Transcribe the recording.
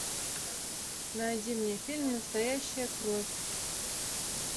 найди мне фильм настоящая кровь